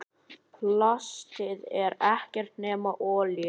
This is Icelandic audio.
Plastið er ekkert nema olía.